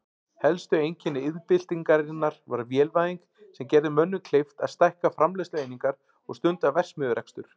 Helsta einkenni iðnbyltingarinnar var vélvæðing sem gerði mönnum kleift að stækka framleiðslueiningar og stunda verksmiðjurekstur.